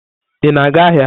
Ị na-aga ahịa?